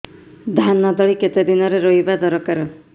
ଧାନ ତଳି କେତେ ଦିନରେ ରୋଈବା ଦରକାର